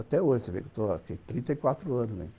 Até hoje, você vê que eu estou aqui, trinta e quatro anos